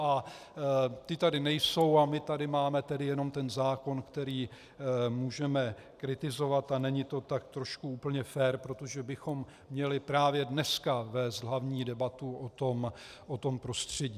A ti tady nejsou a my tady máme tedy jenom ten zákon, který můžeme kritizovat, a není to tak trošku úplně fér, protože bychom měli právě dneska vést hlavní debatu o tom prostředí.